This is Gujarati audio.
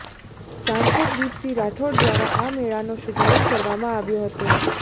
સાંસદ દિપસિંહ રાઠોડ દ્વારા આ મેળાનો શુભારંભ કરવામાં આવ્યો હતો